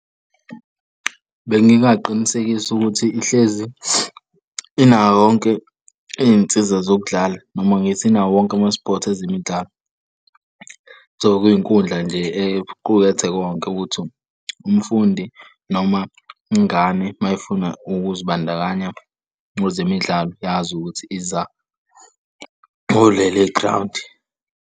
Bengingaqinisekisa ukuthi ihlezi inayo yonke iy'nsiza zokudlala noma ngithi inawo wonke ama-sports ezemidlalo. So kwinkundla nje equkethe konke ukuthi umfundi, noma ingane uma ifuna ukuzibandakanya kwezemidlalo yazi ukuthi iza kuleli ground.